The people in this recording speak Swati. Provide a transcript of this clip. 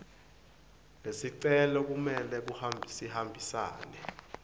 lesicelo kumele sihambisane